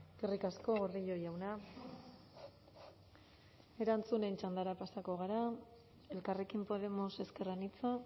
eskerrik asko gordillo jauna erantzunen txandara pasako gara elkarrekin podemos ezker anitza